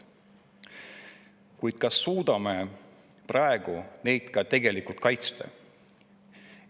Kuid kas suudame praegu neid ka tegelikult kaitsta?